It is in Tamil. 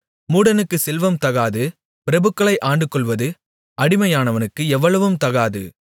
மூடனுக்குச் செல்வம் தகாது பிரபுக்களை ஆண்டுகொள்வது அடிமையானவனுக்கு எவ்வளவும் தகாது